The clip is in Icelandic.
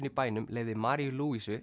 í bænum leyfði Maríu